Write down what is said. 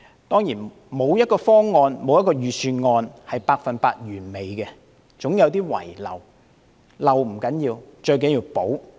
當然，沒有一個方案或預算案是百分之一百完美的，總會有些遺漏，但遺漏不要緊，最重要的是修補。